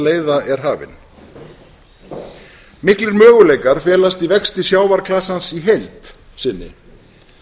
leiða er hafin miklir möguleikar felast í vexti sjávarklasans í heild sinni